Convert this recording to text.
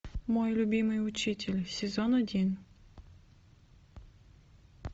мой любимый учитель сезон один